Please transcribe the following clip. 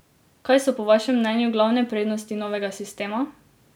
Kaj so po vašem mnenju glavne prednosti novega sistema?